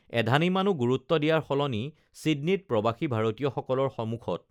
এধানিমানো গুৰুত্ব দিয়াৰ সলনি চিডনীত প্ৰবাসী ভাৰতীয় সকলৰ সমুখত